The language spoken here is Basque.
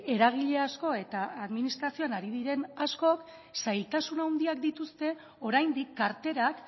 eragile asko eta administrazioan ari diren askok zailtasun handiak dituzte oraindik karterak